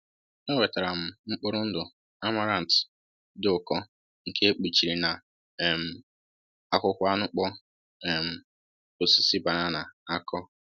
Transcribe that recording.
Enwetara m mkpụrụ ndụ amaranth dị ụkọ nke e kpuchiri na um akwụkwọ anụkpọ um osisi banana akọr